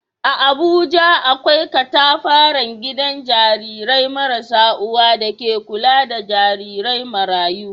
A Abuja, akwai katafaren gidan jarirai marasa uwa da ke kula da jarirai marayu.